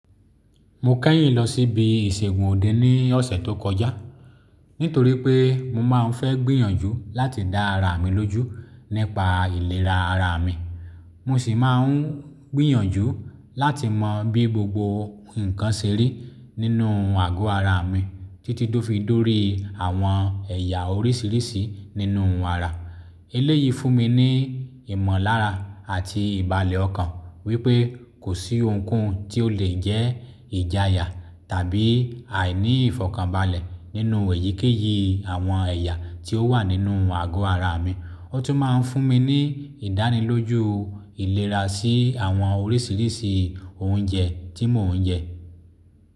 Mo kẹ́yìn lọ síbi ìṣègùn òde ní ọ̀sẹ̀ tó kọjá, nítorí pé mo máa ń fẹ́ gbìyànjú láti dá ara mi lójú nípa ìlera ara mi. Mo sì máa ń gbìyànjú láti mọ bí gbogbo nǹkan ṣe rí nínú àgọ́ ara mi títí tó fi dórí àwọn ẹ̀yà oríṣiríṣi nínú àrà. Eléyìí fún mi ní ìmọ̀lára àti ìbàlẹ̀ ọkàn wípé kò sí ohunkóhun tí ó lè jẹ́ ìjayà tàbí àìní ìfọ̀kànbalẹ̀ nínú èyíkéyìí àwọn ẹ̀yà tí ó wà nínú àgọ́ ara mi. Ó tún máa ń fún mi ní ìdánilójú ìlera sí àwọn oríṣiríṣi oúnjẹ tí mò ń jẹ.